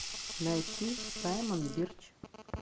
найти саймон бирч